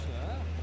Xruç, a?